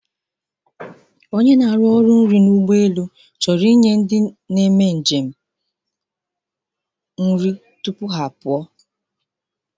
ọnye ọrụ ọrụ nri chọrọ inye ndị njem na-apụ apụ nri tupuha apụ.